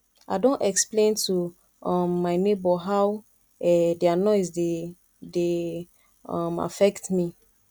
i don explain to um my nebor how um their noise dey dey um affect me